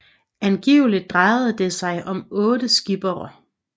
Angiveligt drejede det sig om 8 skippere